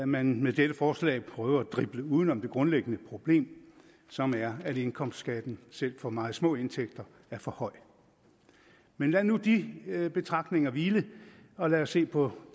man med dette forslag prøver at drible uden om det grundlæggende problem som er at indkomstskatten selv for meget små indtægter er for høj men lad nu de betragtninger hvile og lad os se på